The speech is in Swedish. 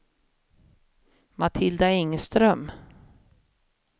Matilda Engström